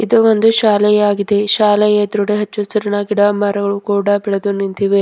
ಇದು ಒಂದು ಶಾಲೆಯಾಗಿದೆ ಶಾಲೆ ಎದ್ರುಡೇ ಹಚ್ಚ ಹಸುರಿನ ಗಿಡ ಮರಗಳು ಕೂಡ ಬೆಳೆದು ನಿಂತಿವೆ.